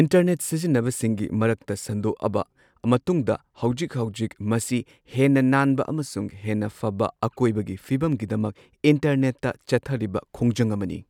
Internet ꯁꯤꯖꯤꯟꯅꯕ ꯁꯤꯡꯒꯤ ꯃꯔꯛꯇ ꯁꯟꯗꯣꯛꯑꯕ ꯃꯇꯨꯡꯗ ꯍꯧꯖꯤꯛ ꯍꯧꯖꯤꯛꯇꯤ ꯃꯁꯤ ꯍꯦꯟꯅ ꯅꯥꯟꯕ ꯑꯃꯁꯨꯡ ꯍꯦꯟꯅ ꯐꯕ ꯑꯀꯣꯢꯕꯒꯤ ꯐꯤꯕꯝꯒꯤꯗꯃꯛ ꯏꯟꯇꯔꯅꯦꯠꯇ ꯆꯠꯊꯔꯤꯕ ꯈꯣꯡꯖꯪ ꯑꯃꯅꯤ꯫